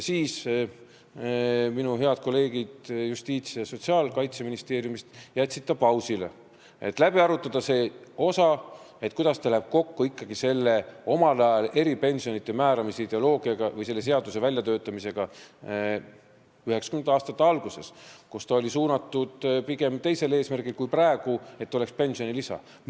Minu head kolleegid Justiitsministeeriumis, Sotsiaalministeeriumis ja Kaitseministeeriumis jätsid ta pausile, et läbi arutada, kuidas ta läheb kokku omaaegse eripensionite määramise ideoloogiaga või selle seaduse väljatöötamise ideoloogiaga 1990. aastate alguses, kui oli pigem teine eesmärk kui praegu: et oleks pensionilisa.